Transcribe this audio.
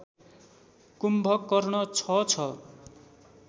कुम्भकर्ण छ छ